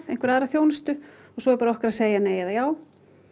einhverja aðra þjónustu svo er bara okkar að segja nei eða já